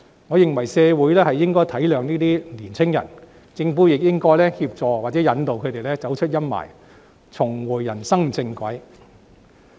我認為社會應該體諒這些年青人，政府亦應協助或引導他們走出陰霾，重回人生正軌。